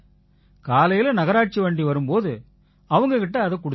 காலையில நகராட்சி வண்டி வரும் போது அவங்க கிட்ட இதைக் குடுத்திருங்க